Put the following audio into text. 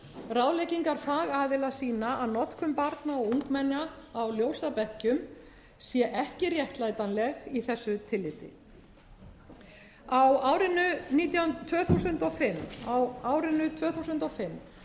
ráðleggingar fagaðila sýna að notkun barna og ungmenna á ljósabekkjum sé ekki réttlætanleg í þessu tilliti á árinu tvö þúsund og fimm